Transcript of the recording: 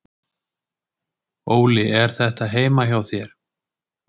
Óli: Er þetta heima hjá þér?